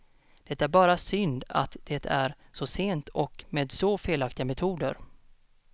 Det är bara synd att det är så sent och med så felaktiga metoder.